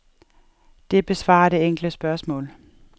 Det besvarer det enkle spørgsmål.